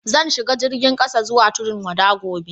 Zan shiga jirigin kasa zuwa Tudun-wada gobe.